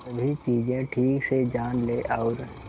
सभी चीजें ठीक से जान ले और